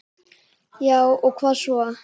Já og hvað svo?